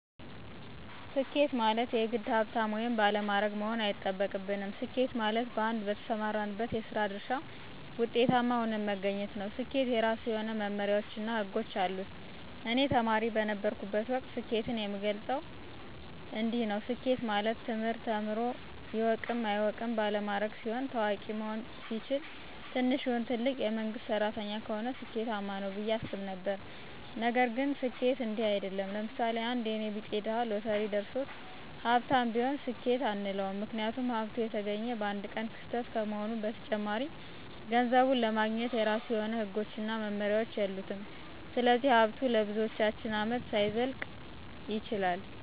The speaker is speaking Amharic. ስኬት ማለት የግድ ሀብታም ወይም ባለማዕረግ መሆን አይጠበቅብንም። ስኬት ማለት በአንድ በተሰማራንበት የስራ ድርሻ ውጤታማ ሁነን መገኘት ነው። ስኬት የራሱ የሆነ መመመሪያዎች እና ህጎች አሉት። እኔ ተማሪ በነበረሁበት ወቅት ስኬትን የምገልፀው እንዲንዲህ ነው። ስኬት ማለት ትምህርት ተምሮ ይወቅም አይወቅም ባለማዕረግ ሲሆን፣ ታዋቂ መሆን ሲችል፣ ትንሽም ይሁን ትልቅ የመንግስት ሰራተኛ ከሆነ ስኬማነው ብየ አስብ ነበረ። ነገር ግን ስኬት እንዲህ አይድለም። ለምሳሌ፦ አንድ የኔ ቢጤ ድሀ ሎተሪ ደርሶት ሀብታም ቢሆን ስኬት አንለውም ምክንያቱም ሀብቱ የተገኘ በአንድ ቀን ክስተት ከመሆኑም በተጨማሪ ገንዘቡን ለማግኘት የራሱ የሆነ ህጎችና መመሪያዎች የሉትም ስለዚህ ሀብቱ ለብዙዎቻችን አመታት ላይዘልቅ ይችላል።